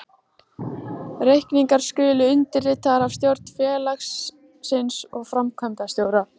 Reikningar skulu undirritaðir af stjórn félagsins og framkvæmdastjóra.